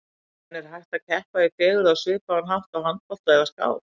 En er hægt að keppa í fegurð á svipaðan hátt og í handbolta eða skák?